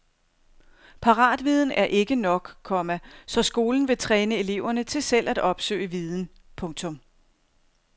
Paratviden er ikke nok, komma så skolen vil træne eleverne til selv at opsøge viden. punktum